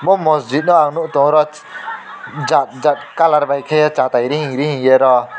o mojito no ang nog tongo oro jat jat colour bai kaye satai ring ring yero.